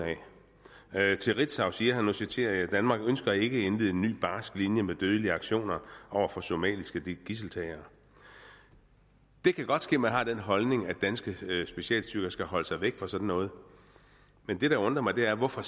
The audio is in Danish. af til ritzau siger han og nu citerer jeg danmark ønsker ikke at indlede en ny barsk linje med dødelige aktioner over for somaliske gidseltagere det kan godt ske at man har den holdning at danske specialstyrker skal holde sig væk fra sådan noget men det der undrer mig er hvorfor